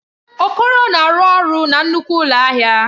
Okoro na-arụ ọrụ na nnukwu ụlọ ahịa.